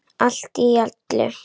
Allt í öllu.